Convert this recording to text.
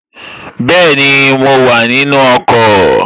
Bẹ́ẹ̀ni, mo wà nínu ọkọ̀